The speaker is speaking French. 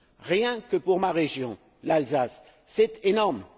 Rien que pour ma région, l'Alsace, c'est énorme.